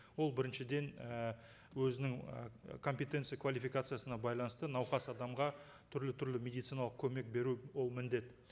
ол біріншіден і өзінің і компетенция квалификациясына байланысты науқас адамға түрлі түрлі медициналық көмек беру ол міндет